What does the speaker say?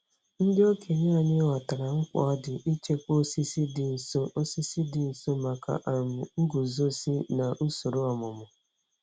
Ndị okenye anyị ghọtara mkpa ọ dị ichekwa osisi dị nsọ osisi dị nsọ maka um nguzozi na usoro ọmụmụ.